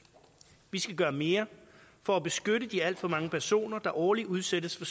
vi skal gøre mere for at beskytte de alt for mange personer der årligt udsættes for